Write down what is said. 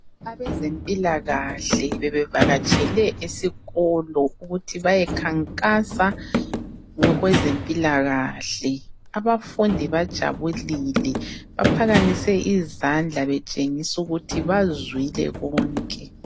Abezempilakahle bebevakatshele esikolo ukuthi beyekhankasa ngokwezempilakahle. Abafundi bajabulile, baphakamise izandla betshengisa ukuthi bazwile konke.